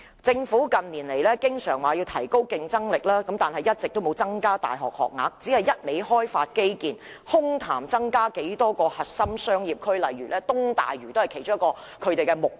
政府近年經常說要提高競爭力，卻一直沒有增加大學學額，只顧開發基建，空談增加多少個核心商業區，而東大嶼便是其中一個目標。